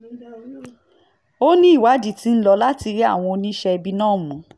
ó ní ìwádìí tí ń lò láti rí àwọn oníṣẹ̀ẹ́bí náà mú